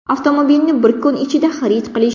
Avtomobilni bir kun ichida xarid qilish.